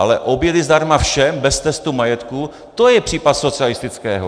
Ale obědy zdarma všem bez testu majetku, to je případ socialistického!